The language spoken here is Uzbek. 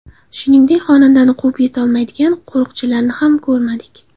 Shuningdek, xonandani quvib yetolmaydigan qo‘riqchilarni ham ko‘rmadik.